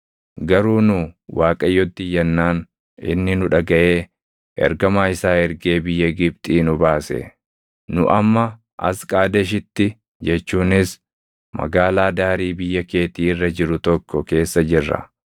garuu nu Waaqayyotti iyyaannaan, inni nu dhagaʼee ergamaa isaa ergee biyya Gibxii nu baase. “Nu amma as Qaadeshitti jechuunis magaalaa daarii biyya keetii irra jiru tokko keessa jirra.